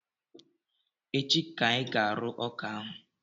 Echi ka anyị ga-arụ ọka ahụ